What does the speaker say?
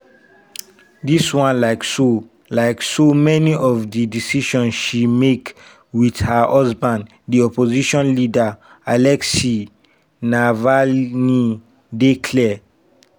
this one like so like so many of di decisions she make wit her husband di opposition leader alexei navalny dey clear.